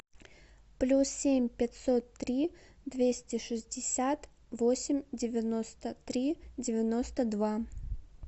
плюс семь пятьсот три двести шестьдесят восемь девяносто три девяносто два